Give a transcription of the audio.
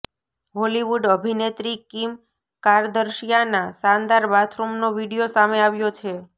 Hollywood અભિનેત્રી Kim કારદર્શિયાના શાનદાર બાથરૂમનો વીડિયો સામે આવ્યો છે